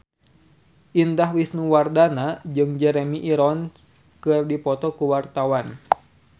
Indah Wisnuwardana jeung Jeremy Irons keur dipoto ku wartawan